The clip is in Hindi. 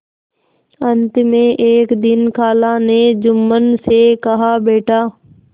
अंत में एक दिन खाला ने जुम्मन से कहाबेटा